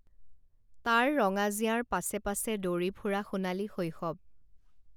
তাৰ ৰঙা জিঞাৰ পাছে পাছে দৌৰি ফুৰা সোণালী শৈশৱ